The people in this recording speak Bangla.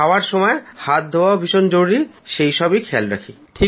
খাওয়ার সময় হাত ধোয়া ভীষণ জরুরি সেই সব খেয়াল রাখি